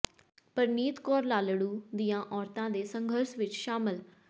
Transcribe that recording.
ਪਰਨੀਤ ਕੌਰ ਲਾਲੜੂ ਦੀਆਂ ਔਰਤਾਂ ਦੇ ਸੰਘਰਸ਼ ਵਿੱਚ ਸ਼ਾਮਲ